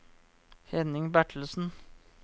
Henning Bertelsen